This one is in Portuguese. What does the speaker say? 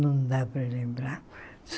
Não dá para lembrar.